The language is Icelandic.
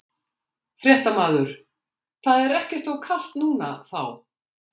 Fréttamaður: Það er ekkert of kalt núna þá?